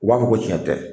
U b'a fɔ ko tiɲɛ tɛ